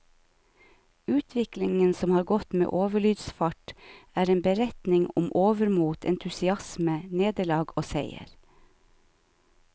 Utviklingen, som har gått med overlydsfart, er en beretning om overmot, entusiasme, nederlag og seier.